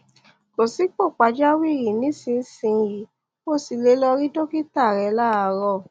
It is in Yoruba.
kò sí ipò pàjáwìrì nísinsìnyí o sì lè lọ rí dókítà rẹ láàárọ̀